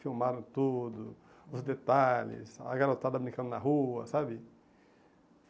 Filmaram tudo, os detalhes, a garotada brincando na rua, sabe?